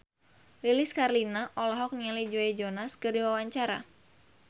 Lilis Karlina olohok ningali Joe Jonas keur diwawancara